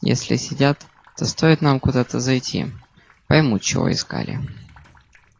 если следят то стоит нам куда-то зайти поймут чего искали